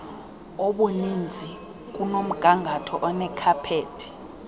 obuninzi kunomgangatho onekhaphethi